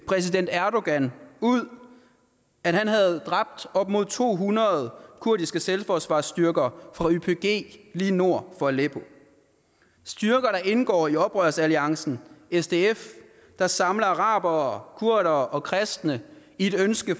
præsident erdogan ud at han havde dræbt op mod to hundrede kurdiske selvforsvarsstyrker fra ypg lige nord for aleppo styrker der indgår i oprørsalliancen sdf der samler arabere kurdere og kristne i et ønske